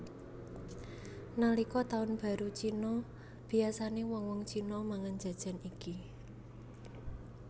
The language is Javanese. Nalika taun baru Cina biyasané wong wong Cina mangan jajan iki